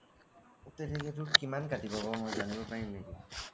তেনেকে টো কিমান কাটিব মই জানিব পাৰিম নেকি